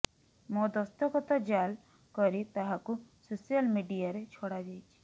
ମୋ ଦସ୍ତଖତ ଜାଲ୍ କରି ତାହାକୁ ସୋସିଆଲ୍ ମିଡିଆରେ ଛଡ଼ାଯାଇଛି